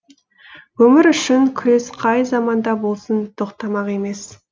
өмір үшін күрес қай заманда болсын тоқтамақ емес